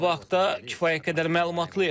Sabah klubu haqda kifayət qədər məlumatlıyıq.